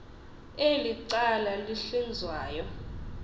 eli cala lihlinzwayo